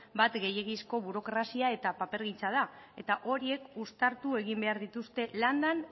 bat gehiegizko burokrazia eta papergintza da eta horiek uztartu egin behar dituzte landan